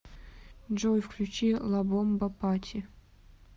джой включи ла бомба пати